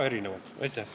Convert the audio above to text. Aitäh!